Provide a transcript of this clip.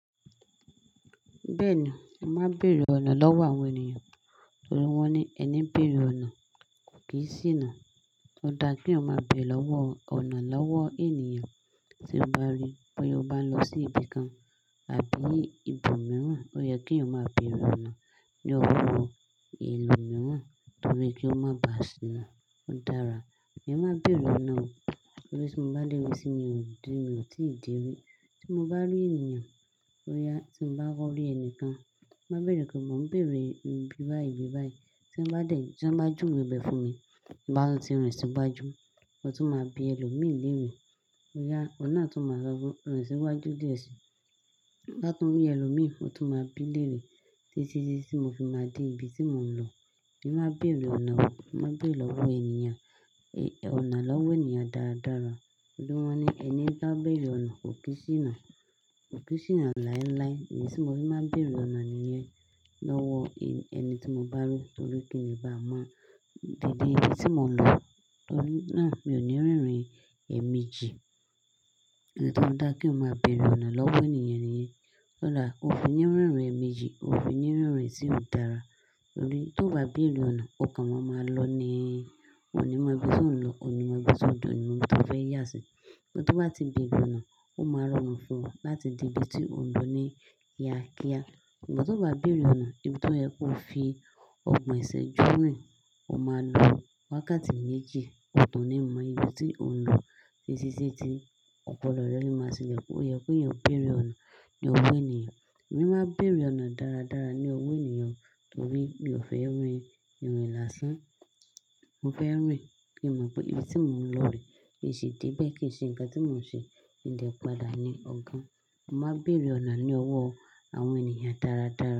Bẹ́ẹ̀ni, a máa ń bèrè ọ̀nà lọ́wọ́ àwọn ènìyàn, torí wọ́n ní ẹni béèrè ọ̀nà kò kí ń sì nà. Ó dáa kí yàn máa bèrè ọ̀nà lọ́wọ́ ènìyàn. Tí o bá rí bọ́yá o bá ń lọ sí ibi kan àbí ibòmíràn, ó yẹ kí yàn máa bèrè ọ̀nà ní ọwọ́ ìlú mìíràn torí kí ó má bà sì nà. Ó dára. Èmi má n bèrè ọ̀nà o, torí tí mo bá dé bi sí mi–tí mi ò tí ì dé rí. Tí mo bá rí ènìyàn, boya tí mo bá kọ rí ẹnìkan, máa bèrè pé mò ń bèrè ibi báyìí, ibi báyìí. Tí wọ́n bá juwe ibẹ fún mi, ti n bá tun ti rìn sígbàjù, mo tún máa bi ẹlòmíràn léèrè. Oun naa máa sọ pe rìn sí iwájú díẹ̀ sí i. Ti n ba tún rí ẹlòmíràn, mo tún máa bi léèrè títí tí mo fi máa dé ibi tí mò ń lọ. Èmi má bèrè ọ̀nà, mo máa n bèrè lọ́wọ́ ènìyàn. Ọ̀nà lọ́wọ́ ènìyàn dára dára. Torí wọ́n ní ẹni bá bèrè ọ̀nà kò kí n sínà. Kò kí n sínà láíláí. Èyí tí mo fi máa ń bèrè ọ̀nà nìyẹn lọ́wọ́ ẹni tí mo bá rí, torí kí nì bá mọ deede ibi tí mò ń lọ. Torí náà mi ò ní rírin ẹẹmėjj. Idi tí ó fi dá kí eeyan máa bèrè ọ̀nà lọ́wọ́ ènìyàn nìyẹn. Ó fi ní rírin ẹẹmeji, ó fi ní rírin tí ò dára. Torí tí o bá bèrè ọ̀nà, ọkàn maa máa lọ ni. Wọn ò ní mọ ibi tí ò ń lọ, ò ní mọ ibi tí ó de, ò ní mọ ibi tí ó fẹ́ yà sí. Ìgbà to bá ti béèrè ọ̀nà, ó máa rọrùn fún ọ láti de ibi tí ó ń lọ ni kíákia. Ìgbà tí o bá bèrè ọ̀nà, ibi tí ó yẹ kó fi ọgbọ́n ẹsẹ̀ júnrìn, o máa lo wákàtí méjì o tun ní mọ ibi tí ò ń lọ títí tí ti ọpọlọ rẹ lé máa silẹ. Ó yẹ kí èèyàn ó bèrè ọ̀nà ní owó ènìyàn. Èmi máa ń bèrè ọ̀nà dára dára ní ọwọ ènìyàn torí mi ò fẹ́ rìn ìrìn lásán. Mo fẹ́ rìn kí n mọ pé ibi tí mò ń lọ re ki n ṣi dé bẹ́ẹ̀ kí ì ṣe nnkan tí mò ń ṣe ki n dẹ padà ní ọ̀gàn. Mo máa ń bèrè ọ̀nà ní owó àwọn ènìyàn dára dára.